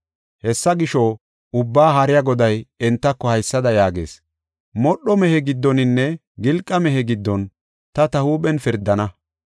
Hessa gisho, Ubbaa Haariya Goday entako haysada yaagees: “Modho mehiya giddoninne gilqa mehiya giddon ta ta huuphen pirdana.